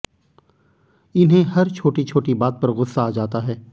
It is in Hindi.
इन्हें हर छोटी छोटी बात पर गुस्सा आ जाता है